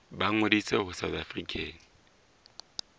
ba ngodise ho south african